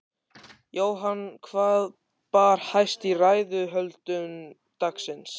Jóhann, hvað bar hæst í ræðuhöldum dagsins?